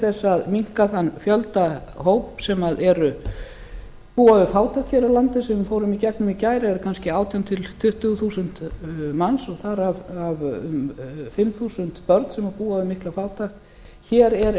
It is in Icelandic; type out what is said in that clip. þess að minnka þann fjölda hóps sem búa við fátækt hér á landi sem við fórum í gegnum í gær eru kannski átján til tuttugu þúsund manns þar af um fimm þúsund börn sem búa við mikla fátækt hér er